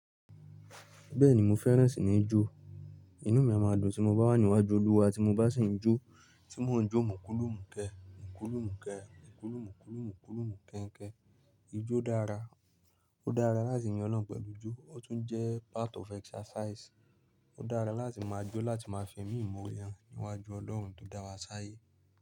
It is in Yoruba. Bẹ́ẹ̀ni mo fẹ́ràn ìsinìjo. Inú mi a máa dùn tí mo bá wà níwájú oluwa tí mo bá sì ń jó, tí mò ń jó mò ń kúùlù mú kẹ́, mò ń kúùlù mú kẹ́, mò ń kúùlù mú kúùlù mú kúùlù mú kẹ́nkẹ́. Ijó dára, ó dára láti yin Ọlọ́hun pẹ̀lú ijó, ó tún jẹ́ part of exercise. Ó dára láti máa jó láti máa fẹmi ìmoore han níwájú Ọlọ́run tó dá wa sí ayé.